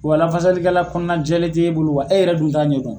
Wa lafasalikɛla kɔnɔnajɛlen t'e bolo wa e yɛrɛ dun t'a ɲɛdɔn.